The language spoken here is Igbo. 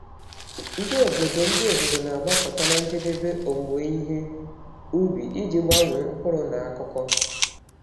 Ndị obodo Ndị obodo na-agbakọta na njedebe owuwe ihe ubi iji gbanwee mkpụrụ na akụkọ.